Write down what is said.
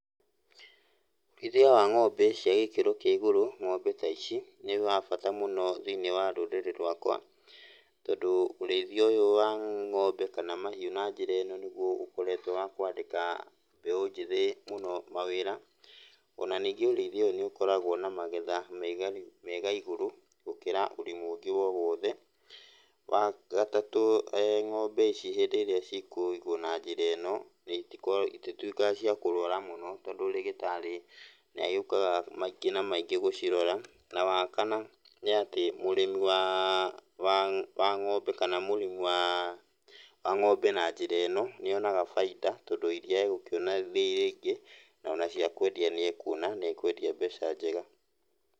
Ũrĩithia wa ng'ombe cia gĩkĩro kĩa igũrũ, ng'ombe ta ici, nĩ wa bata mũno thĩiniĩ wa rũrĩrĩ rwakwa. Tondũ ũrĩithia ũyũ wa ng'ombe kana mahiũ na njĩra ĩno nĩguo ũkoretwo wa kwandĩka mbeũ njĩthĩ mũno mawĩra. Ona ningĩ ũrĩithia ũyũ nĩũkoragwo na magetha me igai, me igaigũrũ gũkĩra ũrĩmi ũngĩ o wothe. Wagatatũ ng'ombe ici hĩndĩ ĩrĩa cikũigwo na njĩra ĩno, itituĩkaga cia kũrwara mũno tondũ rĩgĩtarĩ nĩagĩũkaga maingĩ na maĩngĩ gũgĩcirora. Na wakana nĩ atĩ mũrimi wa wa wa ng'ombe kana mũrĩmi wa ng'ombe na njĩra ĩno, nĩonaga bainda tondũ iria egũkĩona rĩ rĩingĩ, na ona cia kwendia nĩekuona na ekwendia mbeca njega.